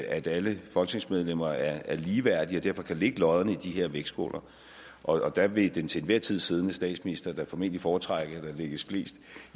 at alle folketingsmedlemmer er ligeværdige og derfor kan lægge lodderne i de her vægtskåle og der vil den til enhver tid siddende statsminister da formentlig foretrække at der lægges flest